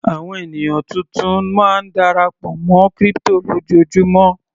Àwọn ènìyàn tuntun máa ń darapọ̀ mọ́ crypto lójoojúmó.